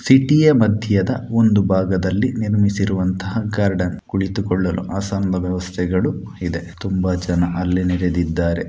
City ಯ ಮಧ್ಯದ ಒಂದು ಭಾಗದಲ್ಲಿ ನಿರ್ಮಿಸಿರುವಂತ ಗಾರ್ಡನ್ ಕುಳಿತುಕೊಳ್ಳಲು ಆಸನಗಳ ವ್ಯವಸ್ಥೆ ಇದೆ ತುಂಬಾ ಜನ ಅಲ್ಲಿ ನೆರೆದಿದ್ದಾರೆ.